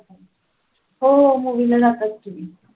हो movie ला जातात की